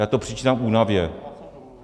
Já to přičítám únavě.